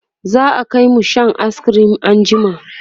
za'a Kai mu Shan ayis cream an jima